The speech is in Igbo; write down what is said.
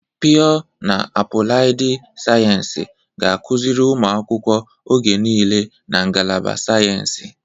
Pịọ na apụlaịdị sayensị ga-akụziri ụmụ akwụkwọ oge niile na ngalaba sayensị.